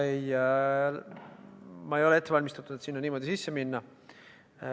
Ma ei ole ette valmistatud, et sinna sisse minna.